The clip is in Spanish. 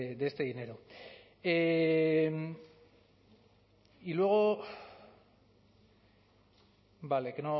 de este dinero y luego vale que